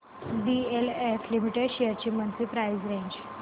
DLF limited shares ची monthly price range